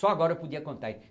Só agora eu podia contar.